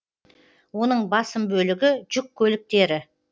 оның басым бөлігі жүк көліктері